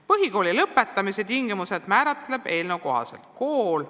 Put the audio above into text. Põhikooli lõpetamise tingimused määratleb eelnõu kohaselt kool.